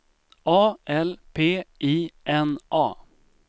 A L P I N A